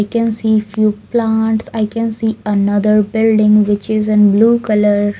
I can see few plants I can see another building which is in blue color.